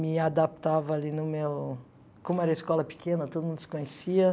Me adaptava ali no meu... Como era escola pequena, todo mundo se conhecia.